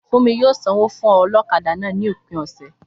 Fúnmi yóò sanwó fún ọlọ́kadà náà ní òpin ọ̀sẹ̀